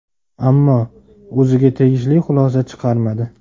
Ammo o‘ziga tegishli xulosa chiqarmadi.